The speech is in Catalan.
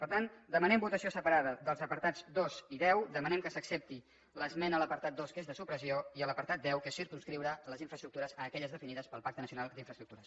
per tant demanem votació separada dels apartats dos i deu demanem que s’accepti l’esmena a l’apartat dos que és de supressió i a l’apartat deu que és circumscriure les infraestructures a aquelles definides pel pacte nacio nal d’infraestructures